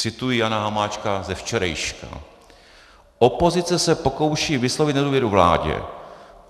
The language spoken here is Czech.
Cituji Jana Hamáčka ze včerejška: "Opozice se pokouší vyslovit nedůvěru vládě.